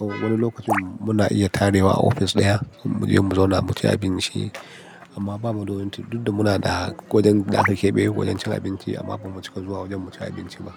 Wani lokacin muna iya tare wa office ɗaya muji mu zauna mu ci abinci amma bamu da wajen cin, duk da muna da wajen da ake biya wajen cin abinci amma bamu cika zuwa wajen mu ci abinci ba.